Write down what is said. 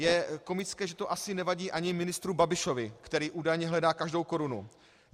Je komické, že to asi nevadí ani ministru Babišovi, který údajně hledá každou korunu.